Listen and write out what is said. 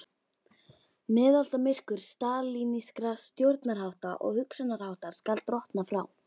Miðaldamyrkur stalínískra stjórnarhátta og hugsunarháttar skal drottna frá